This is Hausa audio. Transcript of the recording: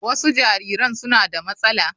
Wasu jariran suna da matsala.